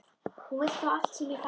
Hún vill fá allt sem ég fæ.